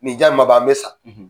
Ni ja ma ban an bɛ sa